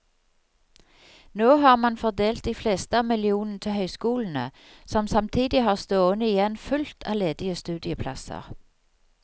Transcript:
Nå har man fordelt de fleste av millionene til høyskolene, som samtidig har stående igjen fullt av ledige studieplasser.